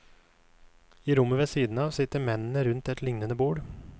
I rommet ved siden av sitter mennene rundt et lignende bord.